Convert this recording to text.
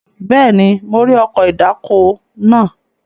Bẹ́ẹ̀ni, mo rí ọkọ̀ ìdáko náà.